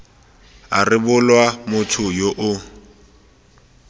a rebolwa motho yo o